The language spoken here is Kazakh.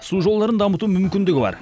су жолдарын дамытуға мүмкіндігі бар